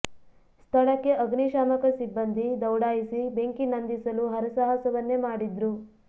ಸ್ಥಳಕ್ಕೆ ಅಗ್ನಿ ಶಾಮಕ ಸಿಬ್ಬಂದಿ ದೌಡಾಯಿಸಿ ಬೆಂಕಿ ನಂದಿಸಲು ಹರಸಾಹಸವನ್ನೇ ಮಾಡಿದ್ರು